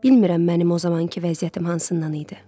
Bilmirəm mənim o zamankı vəziyyətim hansından idi.